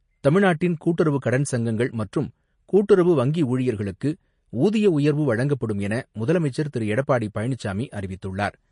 தமிழ்நாட்டின் கூட்டுறவு கடன் சங்கங்கள் மற்றும் கூட்டுறவு வங்கி ஊழியர்களுக்கு ஊதிய உயர்வு வழங்கப்படும் என முதலமைச்சர் திரு எடப்பாடி பழனிசாமி அறிவித்துள்ளார்.